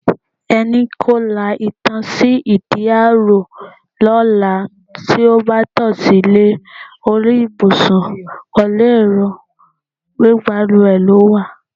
E̩ni kó latan sí ìdí ààrò ló̩la tí ó bá to̩ silé orí ìbùsùn pè̩lú èrò pé balùwè lòún wa.